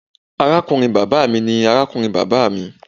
Arakunrin baba mi ni arakunrin baba mi.